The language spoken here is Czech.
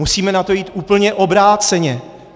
Musíme na to jít úplně obráceně.